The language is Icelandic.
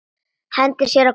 Hendir sér á gólfið.